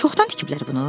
Çoxdan tikiblər bunu?